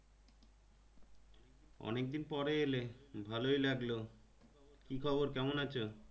অনেক দিন পরে এলে ভালোই লাগলো কি খবর কেমন আছো?